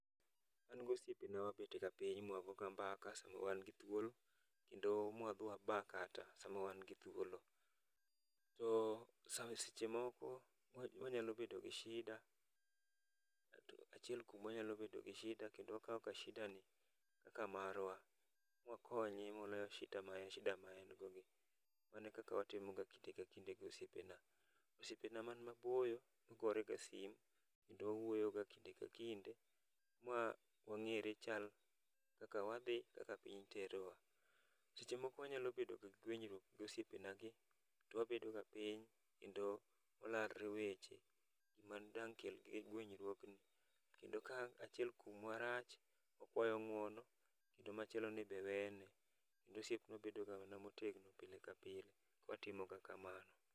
An gosiepena wabet ga piny ma wago mbaka sama wan gi thuolo kendo m wadhi waba kata sama wan gi thuolo ,seche moko wanyalo bedo gi shida kendo wakawo ga shida ni kaka marwa, wakonye moloyo shida ma en go ni, mano e kaka watimo ga kinde ka kinde gi osiepana. osiepana man maboyo gore ga simo kendo wawuoyo ga kinde ka kinde ma wangere chal kaka piny terowa, seche moko wanyalo bedo gi gwenyruok gi osiepena gi to wabedo ga piny kendo walalre weche madang' kel gwenyruogno, kendo ka achiel kuomwa rach okwayo ng'uono to machielo ni be wene kendo osiep medo bedo motegno pile ka pile ,watimo ga kamano